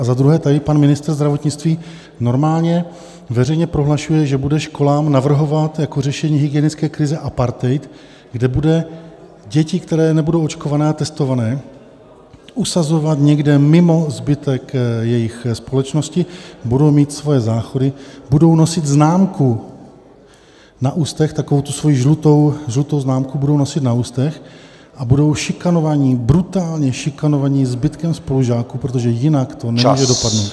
A za druhé, tady pan ministr zdravotnictví normálně veřejně prohlašuje, že bude školám navrhovat jako řešení hygienické krize apartheid, kde budou děti, které nebudou očkované a testované, usazovat někde mimo zbytek jejich společnosti, budou mít svoje záchody, budou nosit známku na ústech, takovou tu svoji žlutou známku budou nosit na ústech, a budou šikanovaní, brutálně šikanovaní zbytkem spolužáků, protože jinak to nemůže dopadnout.